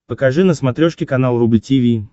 покажи на смотрешке канал рубль ти ви